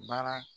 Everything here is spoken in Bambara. Baara